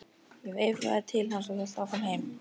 Ég veifaði til hans og hélt áfram heim.